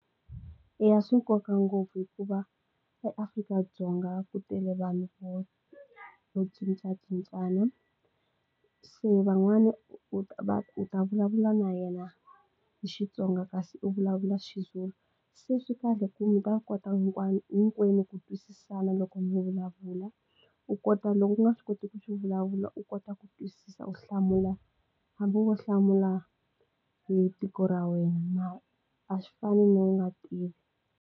Eya swi nkoka ngopfu hikuva eAfrika-Dzonga ku tele vanhu vo cincacincana se van'wani u ta va u ta vulavula na yena hi Xitsonga kasi u vulavula xiZulu se swi kahle ku mi ta kota hinkwayo hinkwenu ku twisisana loko mi vulavula u kota loko ku nga swi koti ku xi vulavula u kota ku twisisa u hlamula hambi wo hlamula hi tiko ra wena a swi fani na u nga tivi.